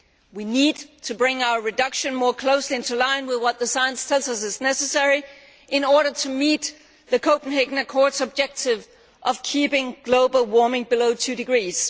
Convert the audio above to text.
We need to bring our reduction more closely into line with what the science tells us is necessary in order to meet the Copenhagen Accord's objective of keeping global warming below two degrees.